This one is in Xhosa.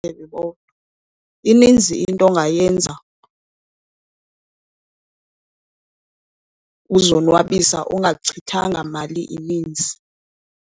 Ininzi into ongayenza uzonwabisa ungachithanga mali ininzi.